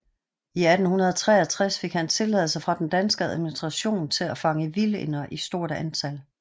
I 1863 fik han tilladelse fra den danske administration til at fange vildænder i stort antal